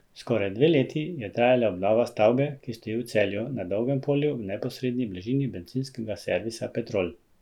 Skoraj dve leti je trajala obnova stavbe, ki stoji v Celju, na Dolgem polju v neposredni bližini bencinskega servisa Petrol.